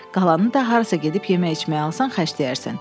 Qalanı da harasa gedib yemək-içmək alsan xərcləyərsən.